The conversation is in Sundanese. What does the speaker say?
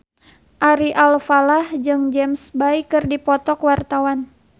Ari Alfalah jeung James Bay keur dipoto ku wartawan